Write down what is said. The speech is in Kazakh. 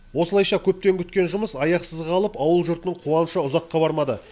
осылайша көптен күткен жұмыс аяқсыз қалып ауыл жұртының қуанышы ұзаққа бармады